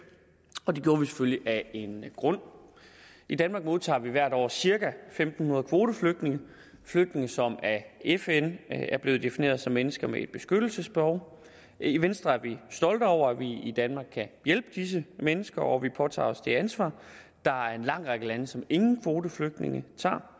og det gjorde vi selvfølgelig af en grund i danmark modtager vi hvert år cirka en fem hundrede kvoteflygtninge flygtninge som af fn er blevet defineret som mennesker med et beskyttelsesbehov i venstre er vi stolte over at vi i danmark kan hjælpe disse mennesker og påtager os det ansvar der er en lang række lande som ingen kvoteflygtninge tager